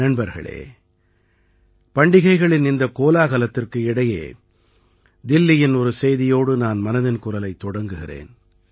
நண்பர்களே பண்டிகைகளின் இந்தக் கோலாகலத்திற்கு இடையே தில்லியின் ஒரு செய்தியோடு நான் மனதின் குரலைத் தொடங்குகிறேன்